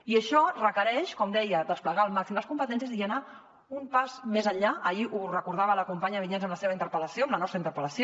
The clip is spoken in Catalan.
i això requereix com deia desplegar al màxim les competències i anar un pas més enllà ahir ho recordava la companya vinyets en la seva interpel·lació en la nostra interpel·lació